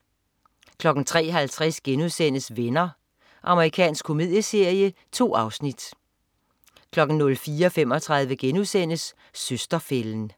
03.50 Venner.* Amerikansk komedieserie. 2 afsnit 04.35 Søster-fælden*